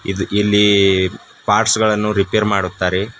ಇದು ಇಲ್ಲಿ ಪಾರ್ಟ್ಸ್ ಗಳನ್ನು ರಿಪೇರ್ ಮಾಡುತ್ತಾರೆ.